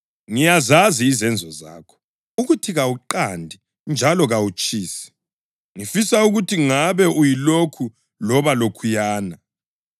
Ngiyazazi izenzo zakho, ukuthi kawuqandi njalo kawutshisi. Ngifisa ukuthi ngabe uyilokhu loba lokhuyana.